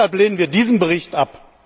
Deshalb lehnen wir diesen Bericht ab!